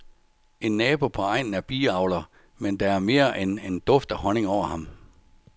En nabo på egnen er biavler, men der er mere end en duft af honning over ham.